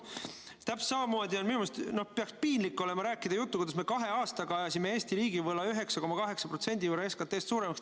Täpselt samamoodi peaks minu arust piinlik olema rääkida juttu, kuidas me kahe aastaga ajasime Eesti riigi võla 9,8% võrra SKT-st suuremaks.